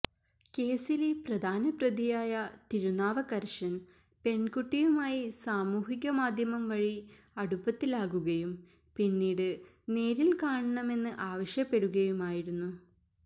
കേസിലെ പ്രധാന പ്രതിയായ തിരുനാവക്കരശന് പെണ്കുട്ടിയുമായി സാമൂഹിക മാധ്യമംവഴി അടുപ്പത്തിലാകുകയും പിന്നീട് നേരില് കാണണമെന്ന് ആവശ്യപ്പെടുകയുമായിരുന്നു